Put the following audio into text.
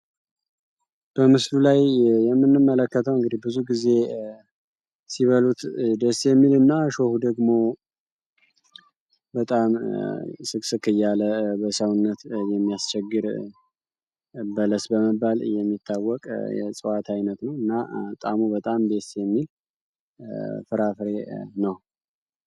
በምስሉ ላይ የምንመለከተው እንግዲህ ብዙ ግዜ ሲበሉት ደስ የሚል እና እሾሁ ደግሞ በጣም ስቅስቅ እያለ በሰውነት ላይ የሚያስቸግር በለስ በመባል የሚታወቅ የእጽዋት አይነት ነው እና ጣእሙ በጣም ደስ የሚል ፍራፍሬ ነው።